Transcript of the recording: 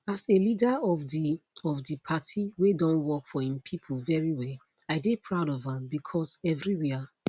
as a leader of di of di party wey don work for im pipo very well i dey proud of am becos evriwia